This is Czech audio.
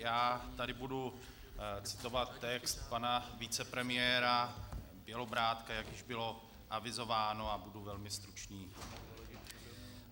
Já tady budu citovat text pana vicepremiéra Bělobrádka, jak už bylo avizováno, a budu velmi stručný.